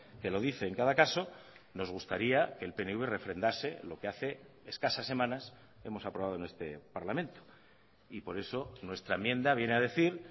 que lo dice en cada caso nos gustaría que el pnv refrendase lo que hace escasas semanas hemos aprobado en este parlamento y por eso nuestra enmienda viene a decir